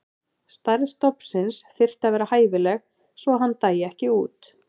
Stærð stofnsins þyrfti að vera hæfileg svo að hann dæi ekki út.